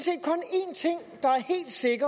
set